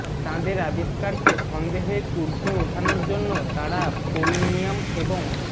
তাঁদের আবিষ্কারকে সন্দেহের ঊর্ধ্বে ওঠানোর জন্য তাঁরা পোলনিয়াম এবং